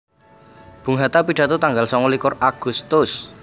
Bung Hatta pidato tanggal sangalikur Agustus